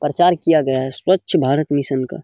प्रचार किया गया है स्वच्छ भारत मिशन का।